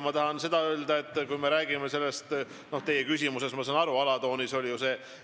Ma tahan seda öelda, et kui me räägime sellest – ma saan aru, et teie küsimuse alatooniks oli